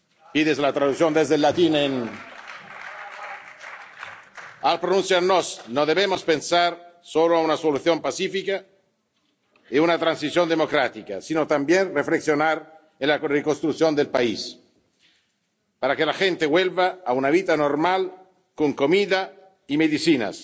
Pida la traducción del latín. Al pronunciarnos, no debemos pensar solo en un solución pacífica y una transición democrática, sino también reflexionar sobre la reconstrucción del país, para que la gente vuelva a una vida normal con comida y medicinas.